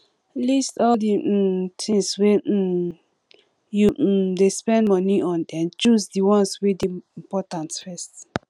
list all di um things wey um you um dey spend money on then choose di ones wey dey important first